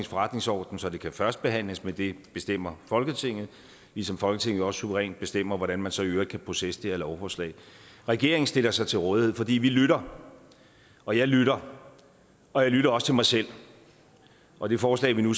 forretningsorden så det kan førstebehandles men det bestemmer folketinget ligesom folketinget også suverænt bestemmer hvordan man så i øvrigt kan processe det her lovforslag regeringen stiller sig til rådighed fordi vi lytter og jeg lytter og jeg lytter også til mig selv og det forslag vi nu